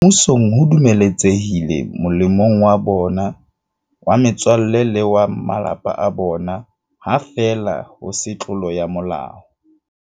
Mmusong ho dumeletse hile molemong wa bona, wa metswalle le wa ba malapa a bona, ha feela ho se tlolo ya molao.